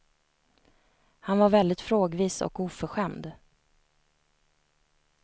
Han var väldigt frågvis och oförskämd.